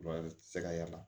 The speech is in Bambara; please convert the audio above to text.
tɛ se ka y'a la